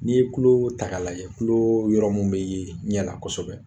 N'i ye tuloo ta k'a lajɛ tuloo yɔrɔ mun be ye ɲɛ la kɔsɛbɛ